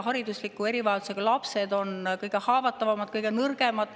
Haridusliku erivajadusega lapsed on kõige haavatavamad, kõige nõrgemad.